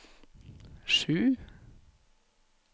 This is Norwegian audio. sju